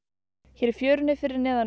hér í fjörunni fyrir neðan